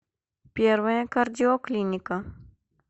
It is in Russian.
первая кардиоклиника